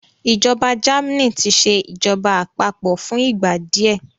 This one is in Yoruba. ìjọba Germany tí ṣe ìjọba àpapọ̀ fún ìgbà díẹ